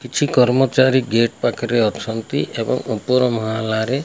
କିଛି କର୍ମଚାରୀ ଗେଟ୍ ପାଖରେ ଅଛନ୍ତି। ଏବଂ ଉପର ମହଲାରେ।